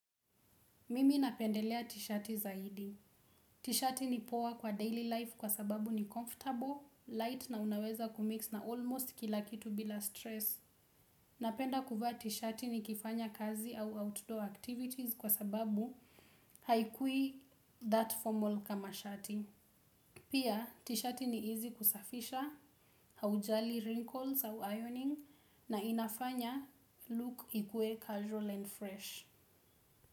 Mimi napendelea t-shirt zaidi. Tishati ni poa kwa daily life kwa sababu ni comfortable light na unaweza kumix na almost kila kitu bila stress napenda kuvaa tishati nikifanya kazi ama outdoor activities kwa sababu haikui that formal kama shati. Pia, t-shirt ni easy kusafisha, haujali wrinkles au ironing na inafanya look ikue casual and fresh.